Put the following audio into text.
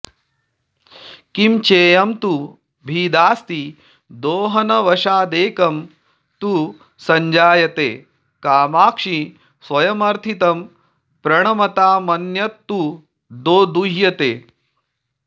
किं चेयं तु भिदास्ति दोहनवशादेकं तु संजायते कामाक्षि स्वयमर्थितं प्रणमतामन्यत्तु दोदुह्यते